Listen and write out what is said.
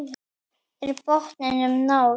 Er botninum náð?